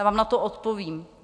Já vám na to odpovím.